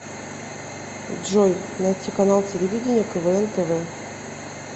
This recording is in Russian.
джой найти канал телевидения квн тв